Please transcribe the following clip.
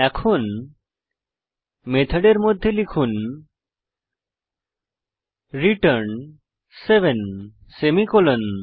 এখন মেথডের মধ্যে লিখুন রিটার্ন 7 সেমিকোলন